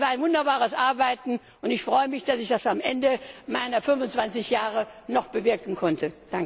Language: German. Es war ein wunderbares Arbeiten, und ich freue mich, dass ich das am Ende meiner 25 Jahre noch bewirken konnte.